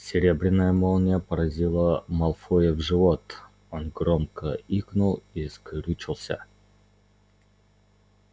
серебряная молния поразила малфоя в живот он громко икнул и скрючился